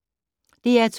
DR2